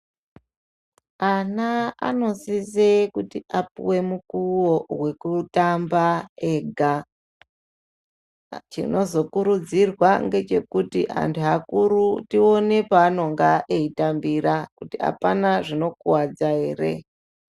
Ana anosise kuti apuwe mukuwo wekutamba ega. Chinozokurudzirwa ngechekuti antu akuru tione paanonga eitambira kuti hapana chinokuwadza ere.